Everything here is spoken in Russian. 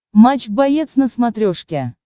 матч боец на смотрешке